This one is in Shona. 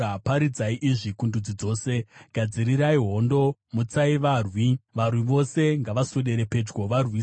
Paridzirai izvi kundudzi dzose: Gadzirirai hondo! Mutsai varwi! Varwi vose ngavaswedere pedyo varwise.